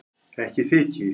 Ekki þyki